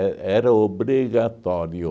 era obrigatório.